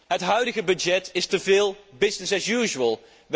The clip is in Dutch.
Het huidige budget is teveel business as usual